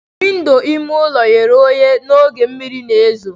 Windo ime ụlọ ghere oghe n'oge mmiri na ezo.